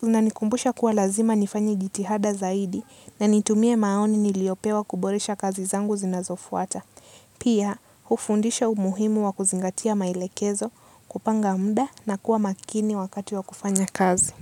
Kunanikumbusha kuwa lazima nifanye jitihada zaidi na nitumie maoni niliopewa kuboresha kazi zangu zinazofuata. Pia, ufundisho muhimu wa kuzingatia maelekezo, kupanga mda na kuwa makini wakati wa kufanya kazi.